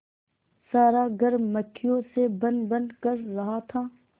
सारा घर मक्खियों से भनभन कर रहा था